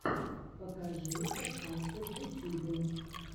покажи подкасты в ютьюбе